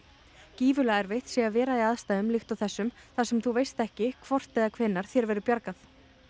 gífurlega erfitt sé að vera í aðstæðum líkt og þessum þar sem þú veist ekki hvort eða hvenær þér verður bjargað